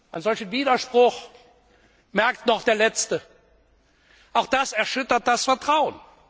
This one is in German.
Einen solchen Widerspruch merkt auch der Letzte, auch das erschüttert das Vertrauen.